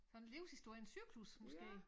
Sådan livshistoriens cyklus måske